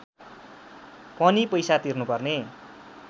पनि पैसा तिर्नुपर्ने